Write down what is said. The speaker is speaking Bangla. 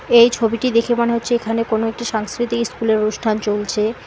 এই ছবিটি দেখে মনে হচ্ছে এখানে কোনো একটি সাংস্কৃতিক ইস্কুলের অনুষ্ঠান চলছে।